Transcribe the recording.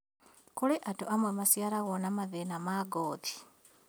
Kũrĩ andũ amwe maaciarirwo na mathĩna ma ngothi